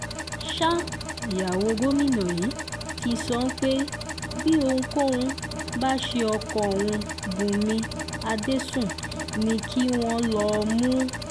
sa ìyàwó gómìnà yìí ti sọ pé bí ohunkóhun bá ṣe ọkọ òun bùnmi adẹ́sùn ni kí wọ́n lọó mú